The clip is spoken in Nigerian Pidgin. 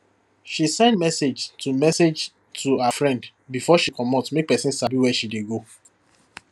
she send message to message to her friend before she comot make person sabi where she dey go